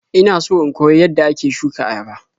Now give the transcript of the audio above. Ina so in koyi yadda ake shuka ayaba.